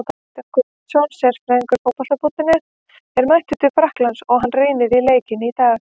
Kristján Guðmundsson, sérfræðingur Fótbolta.net, er mættur til Frakklands og hann rýndi í leikinn í dag.